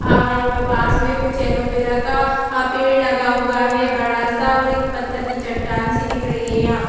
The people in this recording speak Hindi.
और यहां पे पास में कुछ एलोवेरा का पेड़ लगा हुआ है बड़ा सा और एक पत्थर की चट्टान सी दिख रही है यहां पर।